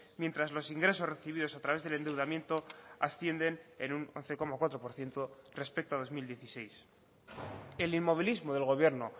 mientras los ingresos recibidos a través del endeudamiento ascienden en un once coma cuatro por ciento respecto a dos mil dieciséis el inmovilismo del gobierno